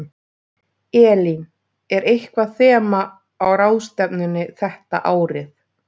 Elín, er eitthvað þema á ráðstefnunni þetta árið?